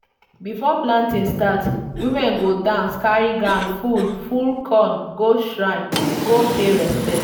before planting start women go dance carry ground full full corn go shrine go pay respect.